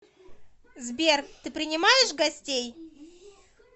сбер ты принимаешь гостей